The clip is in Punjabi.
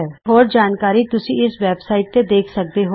ਇਸ ਦੀ ਹੋਰ ਜਾਣਕਾਰੀ ਤੁਸੀਂ ਇਸ ਵੈਬ ਸਾਈਟਤੇ ਦੇਖ ਸਕਦੇ ਹੋ